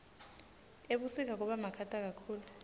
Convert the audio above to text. ebusika kubamakhata kakhulu